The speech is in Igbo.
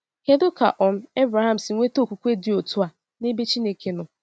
Kedu ka um Ebreham si nweta okwukwe dị otu a n’ebe Chineke nọ?